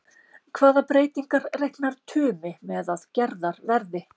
Hvaða breytingar reiknar Tumi með að gerðar verði?